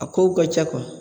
A kow ka ca .